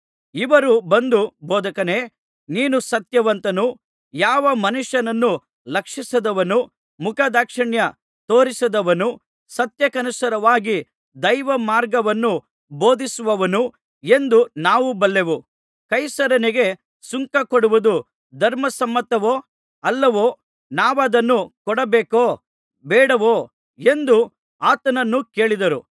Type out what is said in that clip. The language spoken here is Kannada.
ಇವರು ಬಂದು ಬೋಧಕನೇ ನೀನು ಸತ್ಯವಂತನು ಯಾವ ಮನುಷ್ಯನನ್ನು ಲಕ್ಷಿಸದವನೂ ಮುಖದಾಕ್ಷಿಣ್ಯ ತೋರಿಸದವನೂ ಸತ್ಯಕ್ಕನುಸಾರವಾಗಿ ದೈವಮಾರ್ಗವನ್ನು ಬೋಧಿಸುವವನೂ ಎಂದು ನಾವು ಬಲ್ಲೆವು ಕೈಸರನಿಗೆ ಸುಂಕ ಕೊಡುವುದು ಧರ್ಮಸಮ್ಮತವೋ ಅಲ್ಲವೋ ನಾವದನ್ನು ಕೊಡಬೇಕೋ ಬೇಡವೋ ಎಂದು ಆತನನ್ನು ಕೇಳಿದರು